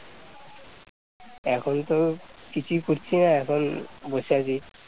এখন তো কিছুই করছি না এখন বসে আছি